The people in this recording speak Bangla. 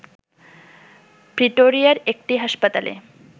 প্রিটোরিয়ার একটি হাসপাতালে